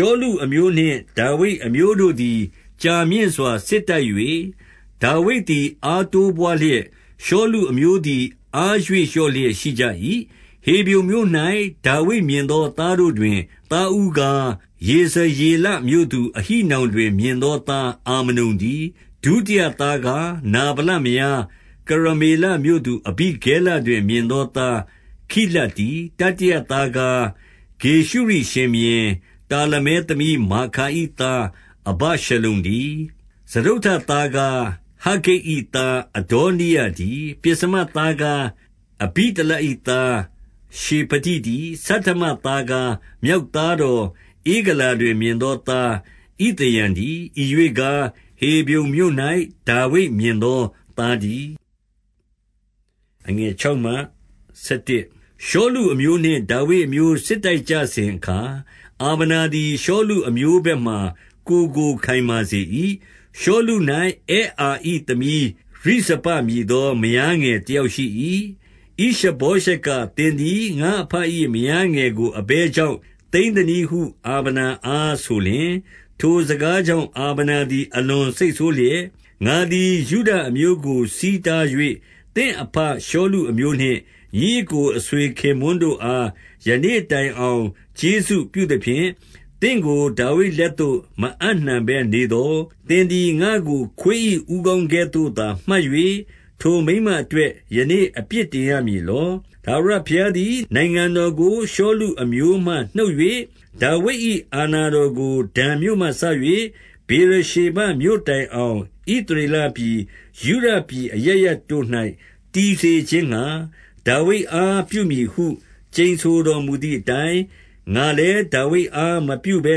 ှောလုအမျိုးနှင့် ဒါဝိဒ်အမျိုးတို့သည် ကြာမြင့်စွာစစ်တိုက်၍၊ ဒါဝိဒ်သည်အားတိုးပွားလျက်၊ ရှောလု အမျိုးသည် အားရွေ့လျော့လျက် ရှိကြ၏။ 2 ဟေဗြုန်မြို့၌ ဒါဝိဒ်မြင်သောသားတို့တွင် သားဦးကား၊ ယေဇရေလမြို့သူ အဟိနောင်တွင် မြင်သောသားအာမနုန်တည်း။ 3 ဒုတိယသားကား၊ နာဗလမယား၊ ကရမေလမြို့သူ အဘိဂဲလတွင်မြင်သောသား ခိလပ်တည်း။ တတိယသားကား၊ ဂေရှုရိရှင်ဘုရင်တာလမဲ သမီးမာခါ၏သား အဗရှလုံတည်း။ 4 စတုတ္တသားကား၊ ဟဂ္ဂိတ်၏ သားအဒေါနိယ တည်း။ ပဥ္စမသားကား၊ အဘိတလနသား ရှေဖတိတည်း။ 5 ဆဋ္ဌမသားကား၊ မြောက်သားတော် ဧဂလာ တွင် မြင်သောသား ဣသရံတည်း။ ဤရွေ့ကား၊ ဟေဗြုန် မြို့၌ ဒါဝိဒ်မြင်သောသားတည်း။ 6 ရှောလုအမျိုးနှင့်ဒါဝိဒ်အမျိုး စစ်တိုက်ကြစဉ်အခါ၊ အာဗနာသည် ရှောလုအမျိုးဘက်မှာ ကိုယ်ကို ခိုင်မာစေ၏။ 7 ရှောလု၌ အဲအာ၏သမီးရိဇပမည်သော မယားငယ်တယောက်ရှိ၏။ ဣရှဗောရှက်က၊ သင်သည် ငါ့အဘ၏ မယားငယ်ကိုအဘယ်ကြောင့် သိမ်းသနည်းဟု အာဗနာအားဆိုလျှင်၊ 8 ထိုစကားကြောင့် အာဗနာသည် အလွန်စိတ်ဆိုးလျက်၊ ငါသည် ယုဒအမျိုးကို ဆီးတား၍ သင့်အဘရှောလု အမျိုးနှင့် ညီအစ်ကိုအဆွေခင်ပွန်းတို့အား ယနေ့တိုင်အောင် ကျေးဇူးပြုသဖြင့် သင့်ကိုဒါဝိဒ်လက်သို့ မအပ်နှံဘဲနေသော်၊ သင်သည်ငါ့ကို ခွေး၏ဦးခေါင်းကဲ့သို့ သာမှတ်၍ ထိုမိန်းမအတွက် ယနေ့အပြစ်တင်ရမည် လော။ 9 ထာဝရဘုရားသည် နိုင်ငံတော်ကို ရှောလုအမျိုးမှ နှုတ်၍ 10 ဒါဝိဒ်၏ အာဏာတော်ကိုဒန်မြို့မှစ၍ ဗေရ ရှေဘမြို့တိုင်အောင် ဣသရေလပြည်၊ ယုဒပြည်အရပ် ရပ်တို့၌ တည်စေခြင်းငှါ၊ ဒါဝိဒ်အားပြုမည်ဟု ကျိန်ဆို တော်မူသည်အတိုင်း၊ ငါလည်း ဒါဝိဒ်အားမပြုဘဲ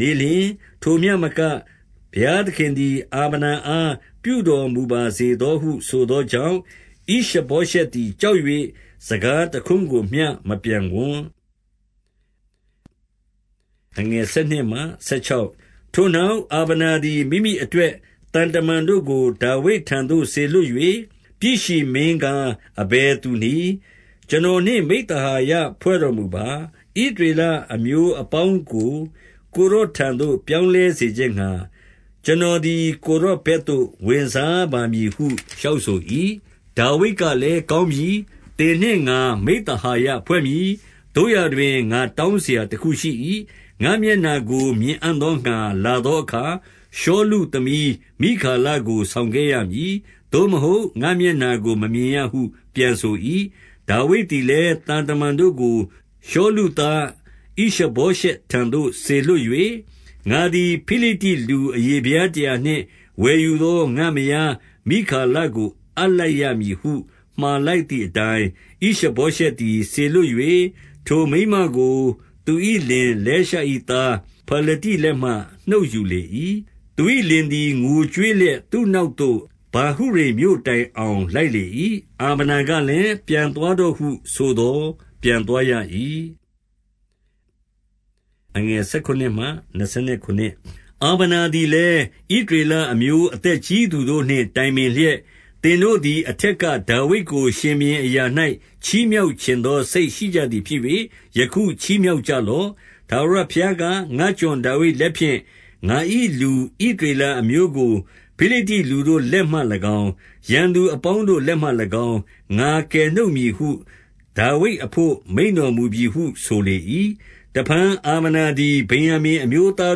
နေလျှင်၊ ထိုမျှမက ဘုရားသခင်သည် အာဗနာအား ပြုတော်မူပါစေသောဟု ဆိုသောကြောင့်၊ 11 ဣရှဗောရှက်သည် ကြောက်၍ စကားတခွန်း ကိုမျှ မပြန်ဝံ့။ 12 ထိုနောက်အာဗနာသည် မိမိအတွက် သံတမန်တို့ကို ဒါဝိဒ်ထံသို့စေလွှတ်၍၊ ပြည်ရှင်မင်းကား အဘယ်သူနည်း။ ကျွန်တော်နှင့်မိဿဟာယဖွဲ့တော်မူပါ။ ဣသရေလအမျိုးအပေါင်းတို့ကို ကိုယ်တော်ထံသို့ ပြောင်းလဲစေခြင်းငှါ၊ ကျွန်တော်သည် ကိုယ်တော်ဘက်သို့ ဝင်စားပါမည်ဟု လျှောက်ဆို၏။ 13 ဒါဝိဒ်ကလည်း ကောင်းပြီ။ သင်နှင့်ငါ မိဿဟာယဖွဲ့မည်။ သို့ရာတွင် ငါတောင်းစရာတခုရှိ၏။ ငါ့မျက်နှာကိုမြင်အံ့သောငှါ လာသောအခါ၊ ရှောလုသမီး မိခါလကို ဆောင်ခဲ့ရမည်။ သို့မဟုတ် ငါ့မျက်နှာကို မမြင်ရဟု ပြန်ဆို၏။ 14 ဒါဝိဒ်သည်လည်း သံတမန်တို့ကို ရှောလုသား ဣရှဗောရှက်ထံသို့စေလွှတ်၍၊ ငါသည် ဖိလိတ္တိလူ အရေဖျားတရာနှင့် ဝယ်ယူသော ငါ့မယားမိခါလကို အပ်လိုက်ရမည်ဟု မှာလိုက်သည်အတိုင်း၊ 15 ဣရှဗောရှက်သည် စေလွှတ်၍ ထိုမိန်းမကို သူ၏လင်လဲရှ၏ သားဖာလတိလက်မှ နှုတ်ယူလေ၏။ 16 သူ၏လင်သည် ငိုကြွေးလျက် သူ့နောက်သို့ ဗာဟုရိမ်မြို့တိုင်အောင်လိုက်လေ၏။ အာဗနာကလည်း ပြန်သွားတော့ဟုဆိုသော် ပြန်သွားရ၏။ 17 အာဗနာသည်လည်း၊ ဣသရေလအမျိုး အသက်ကြီးသူတို့နှင့် တိုင်ပင်လျက်၊ သင်တို့သည် အထက်က ဒါဝိဒ်ကိုရှင်ဘုရင်အရာ၌ ချီးမြှောက်ချင်သော စိတ်ရှိကြသည်ဖြစ်၍၊ 18 ယခုချီးမြှောက်ကြလော့။ ထာဝရဘုရားက၊ ငါ့ကျွန်ဒါဝိဒ်လက်ဖြင့် ငါ၏လူ ဣသရေလအမျိုးကို ဖိလိတ္တိ လူတို့လက်မှ၎င်း၊ ရန်သူအပေါင်းတို့လက်မှ၎င်း၊ ငါကယ် နှုတ်မည်ဟု ဒါဝိဒ်အဘို့ မိန့်တော်မူပြီဟု ဆိုလေ၏။ 19 တဖန်အာဗနာသည် ဗင်္ယာမိန်အမျိုးသား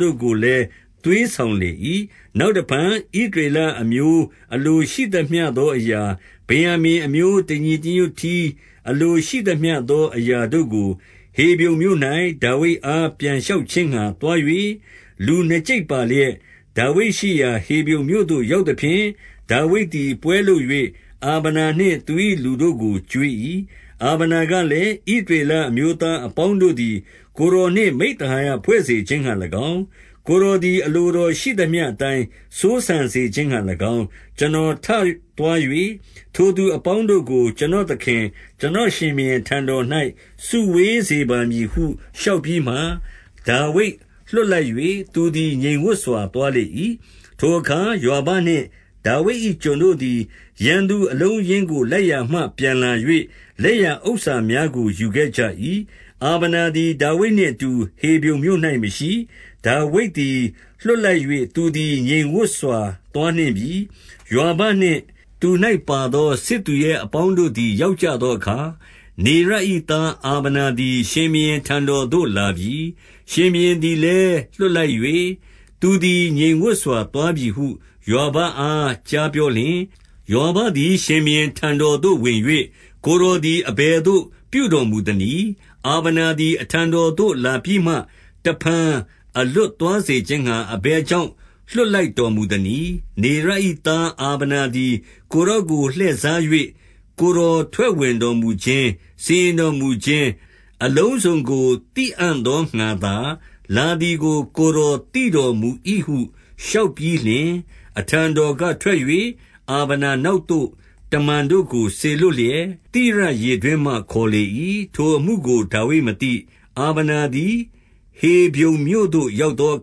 တို့ကို လည်း သွေးဆောင်လေ၏၊ နောက်တဖန် ဣသရေလ အမျိုး အလိုရှိသမျှအရာ၊ ဗင်္ယာမိန်အမျိုး တညီညွတ် တည်း အလိုရှိသမျှသောအရာတို့ကို ဟေဗြုန်မြို့၌ ဒါဝိဒ် အား ပြန်လျှောက်ခြင်းငှါ သွား၍၊ 20 လူနှစ်ကျိပ်ပါလျက် ဒါဝိဒ်ရှိရာ ဟေဗြုန်မြို့သို့ ရောက်သဖြင့်၊ ဒါဝိဒ်သည် ပွဲလုပ်၍ အာဗနာနှင့် သူ၏ လူတို့ကိုကျွေး၏။ 21 အာဗနာကလည်း၊ ဣသရေလအမျိုးသား အပေါင်းတို့သည် ကိုယ်တော်နှင့် မိဿဟာယဖွဲ့စေခြင်းငှါ ၎င်း၊ ကိုယ်တော်သည်အလိုတော်ရှိသမျှအတိုင်း စိုးစံစေခြင်းငှါ၎င်း၊ ကျွန်တော်ထသွား၍ ထိုသူအပေါင်းတို့ကို ကျွန်တော်သခင်၊ ကျွန်တော်ရှင်ဘုရင် ထံတော်၌စုဝေး စေပါမည်ဟု လျှောက်ပြီးမှ၊ ဒါဝိဒ်လွှတ်လိုက်၍ သူသည် ငြိမ်ဝပ်စွာ သွားလေ၏။ 22 ထိုအခါ ယွာဘနှင့်ဒါဝိဒ်၏ကျွန်တို့သည် ရန်သူအလုံးအရင်းကို လိုက်ရာမှပြန်လာ၍၊ လက်ရဥစ္စာများကို ယူခဲ့ကြ၏။ အာဗနာသည် ဒါဝိဒ် နှင့်အတူဟေဗြုန်မြို့၌ မရှိ။ ဒါဝိဒ်သည် လွှတ်လိုက်၍ သူသည်ငြိမ်ဝပ်စွာ သွားနှင့်ပြီ။ 23 ယွာဘနှင့် သူ၌ပါသောစစ်သူရဲအပေါင်းတို့သည် ရောက်ကြသောအခါ၊ နေရ၏သားအာဗနာသည် ရှင်ဘုရင်ထံတော်သို့လာပြီ။ ရှင်ဘုရင်သည်လည်း လွှတ်လိုက်၍၊ သူသည်ငြိမ်ဝပ်စွာသွားပြီဟု ယွာဘအား ကြားပြောလျှင်၊ 24 ယွာဘသည် ရှင်ဘုရင်ထံတော်သို့ဝင်၍၊ ကိုယ်တော်သည် အဘယ်သို့ပြုတော်မူသနည်း။ အာဗနာ သည်အထံတော်သို့လာပြီးမှ တဖန်အလွတ်သွားစေခြင်းငှါ အဘယ်ကြောင့် လွှတ်လိုက်တော်မူသနည်း။ 25 နေရ၏သား အာဗနာသည် ကိုယ်တော်ကိုလှည့်စား၍ ကိုယ်တော်ထွက်ဝင်တော်မူခြင်း၊ စီရင်တော်မူ ခြင်းအလုံးစုံကို သိအံ့သောငှါသာ လာသည်ကို ကိုယ်တော်သိတော်မူ၏ဟု လျှောက်ပြီးလျှင်၊ 26 အထံတော်ကထွက်၍ အာဗနာနောက်သို့ တမန်တို့ကိုစေလွှတ်လျက်၊ သိရရေတွင်းမှ ခေါ်လေ၏။ ထိုအမှုကို ဒါဝိဒ်မသိ။ 27 အာဗနာသည် ဟေဗြုန်မြို့သို့ရောက်သောအ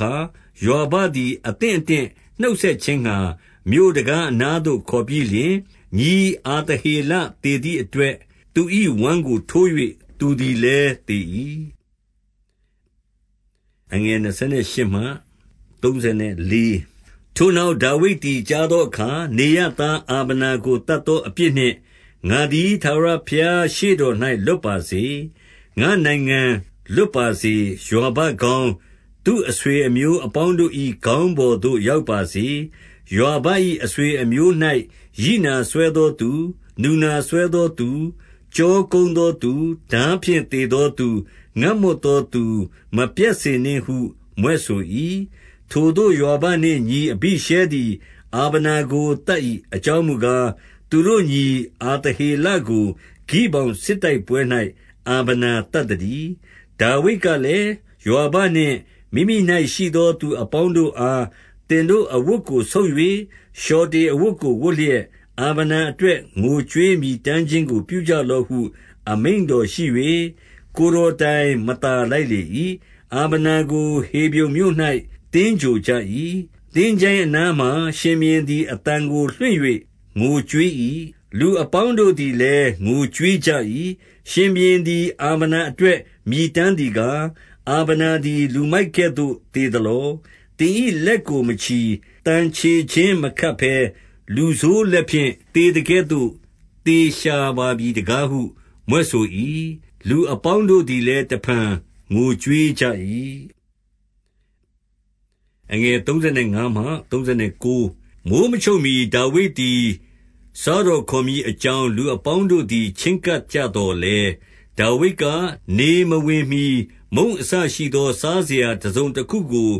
ခါ၊ ယွာဘသည် သင့်အတင့်နှုတ်ဆက်ခြင်ငှါ၊ မြို့တံခါးနားသို့ ခေါ်ပြီးလျှင်၊ ညီအာသဟေလ သေသည်အတွက် သူ၏ ဝမ်းကိုထိုး၍ သူသည်လည်း သေ၏။ 28 ထိုနောက်ဒါဝိဒ်သည် ကြားသောအခါ၊ နေရ၏သား အာဗနာကို သတ်သောအပြစ်နှင့် ငါသည် ထာဝရ ဘုရားရှေ့တော်၌ လွတ်ပါစေ။ ငါ့နိုင်ငံလွတ်ပါစေ။ 29 ယွာဘခေါင်း၊ သူ့အဆွေအမျိုးအပေါင်းတို့၏ ခေါင်းပေါ်သို့ရောက်ပါစေ။ ယွာဘ၏အဆွေအမျိုး၌ ရိနာစွဲသောသူ၊ နူနာစွဲသောသူ၊ ကျောကုန်းသောသူ။ ထားဖြင့် သေသောသူ၊ ငတ်မွတ်သောသူ မပြတ်စေနှင့်ဟု မြွက်ဆို၏။ 30 ထိုသို့ယွာဘနှင့်ညီ အဘိရှဲသည်အာဗနာကို သတ်၏။ အကြောင်းမူကား၊ သူတို့ညီ အာသဟေလကို ဂိဗောင်စစ်တိုက်ပွဲ၌ အာဗနာသတ်သတည်း။ 31 ဒါဝိဒ်ကလည်း၊ ယွာဘနှင့်မိမိ၌ရှိသောသူ အပေါင်းတို့အား၊ သင်တို့အဝတ်ကိုဆုတ်၍ လျှောက်တေ အဝတ်ကိုဝတ်လျက်၊ အာဗနာအတွက် ငိုကြွေးမြည်တမ်း ခြင်းကို ပြုကြလော့ဟု အမိန့်တော်ရှိ၍ ကိုယ်တော်တိုင် မသာလိုက်လေ၏။ 32 အာဗနာကိုဟေဗြုန်မြို့၌ သင်္ဂြိုဟ်ကြ၏။ သင်္ချိုင်းအနားမှာ ရှင်ဘုရင်သည် အသံကိုလွှင့်၍ ငိုကြွေး ၏။ လူအပေါင်းတို့သည်လည်း ငိုကြွေးကြ၏။ 33 ရှင်ဘုရင်သည် အာဗနာအတွက် မြည်တမ်း သည်ကား၊ အာဗနာသည် လူမိုက်ကဲ့သို့သေသလော။ 34 သင်၏လက်ကိုမချည်၊ သံချေချင်းမခတ်ဘဲ လူဆိုးလက်ဖြင့် သေသကဲ့သို့ သေရှာပါပြီတကားဟု မြွက် ဆို၏။ လူအပေါင်းတို့သည်လည်း တဖန်ငိုကြွေးကြ၏။ 35 မိုဃ်းမချုပ်မှီ ဒါဝိဒ်သည် စားတော်ခေါ်မည် အကြောင်း လူအပေါင်းတို့သည် ချဉ်းကပ်ကြသော်လည်း၊ ဒါဝိဒ်က၊ နေမဝင်မှီ မုန့်အစရှိသော စားစရာတစုံတခုကို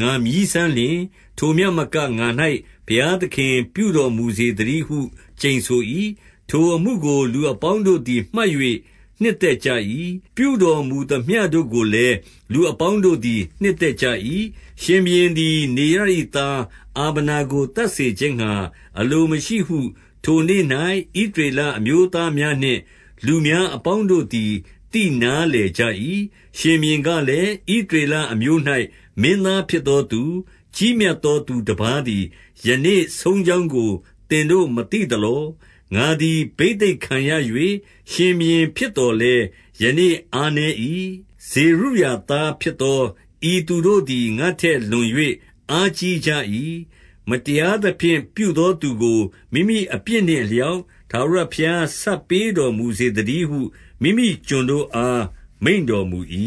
ငါမြည်းစမ်းလျှင်၊ ထိုမျှမကငါ၌ ဘုရားသခင်ပြုတော် မူစေသတည်းဟု ကျိန်ဆို၏ 36 ထိုအမှုကိုလူအပေါင်းတို့သည် မှတ်၍ နှစ်သက် ကြ၏။ ပြုတော်မူသမျှတို့ကိုလည်း လူအပေါင်းတို့သည် နှစ်သက်ကြ၏။ 37 ရှင်ဘုရင်သည် နေရ၏သားအာဗနာကို သတ် စေခြင်းငှါအလိုမရှိဟု ထိုနေ့၌ဣသရေလအမျိုးသားများနှင့် လူများအပေါင်းတို့သည် သိနားလည်ကြ၏။ 38 ရှင်ဘုရင်ကလည်း၊ ဣသရေလအမျိုး၌ မင်းသားဖြစ်သောသူ၊ ကြီးမြတ်သောသူတပါးသည် ယနေ့ဆုံးကြောင်းကို သင်တို့မသိသလော။ 39 ငါသည်ဘိသိတ်ခံရ၍ ရှင်ဘုရင်ဖြစ်သော်လည်း ယနေ့အားနည်း၏။ ဇေရုသားဖြစ်သော ဤသူတို့သည် ငါ့ထက်လွန်၍ အားကြီးကြ၏။ မတရားသဖြင့် ပြုသော သူကို မိမိအပြစ်နှင့်အလျောက် ထာဝရဘုရား ပေးဆပ် တော်မူစေသတည်းဟု မိမိကျွန်တို့အား မိန့်တော်မူ၏။